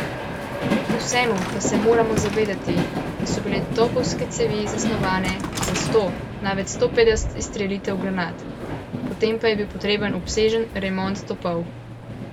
Kljub vsemu pa se moramo zavedati, da so bile topovske cevi zasnovane za sto, največ sto petdeset izstrelitev granat, potem pa je bil potreben obsežen remont topov.